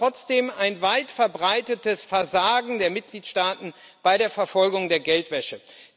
Wir haben aber trotzdem ein weitverbreitetes Versagen der Mitgliedstaaten bei der Verfolgung der Geldwäsche.